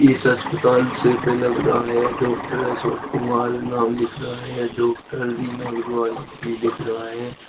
इस अस्पताल शेप मे लग रहा है डॉक्टर अशोक कुमार नाम लिख रहा है या डॉक्टर रीना अग्रवाल भी लिख रहा है।